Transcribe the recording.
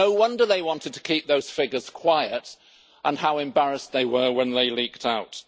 No wonder they wanted to keep those figures quiet and how embarrassed they were when they leaked out.